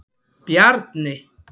Bjarni